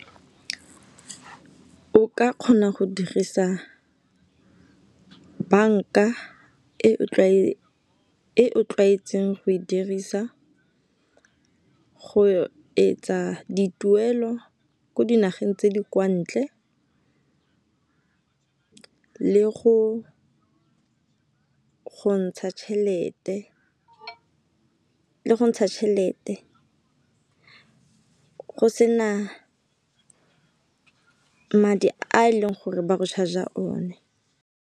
O ka kgona go dirisa banka e o tlwaetseng go e dirisa, go etsa dituelo ko dinageng tse di kwa ntle go ntsha tšhelete go sena madi a e leng gore ba go charger o ne.